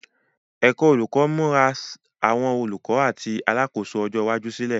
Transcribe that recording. Ẹ̀kọ́ Olùkọ́ ń múra àwọn olùkọ́ àti alákòóso ọjọ́ iwájú sílẹ̀.